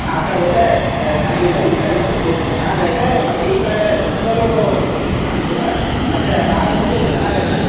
ಆಕಡೆ ಹೋದ್ರೆ ಚನ್ನಾಗ್ ಇಲ್ಲ ಇಕ್ಕಡೆ ಬಂದ್ರ ಸ್ವಲ್ಪ ಚನ್ನಾಗ್ ಅಯ್ತೆ ಮತ್ತೆ ಈಕಡೆ ಜನಗಳು ಅಷ್ಟು ಏನು ಕಾಣಸ್ತಿಲ ಮತ್ತೆ ಜಾಗ ಬಂದು ಚನ್ನಾಗ್ ಅಯ್ತೆ .